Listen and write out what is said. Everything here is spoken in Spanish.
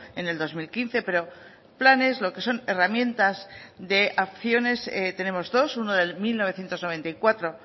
en el dos mil quince pero planes lo que son herramientas de acciones tenemos dos uno del mil novecientos noventa y cuatro